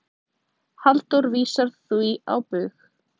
Halldór vísar því á bug.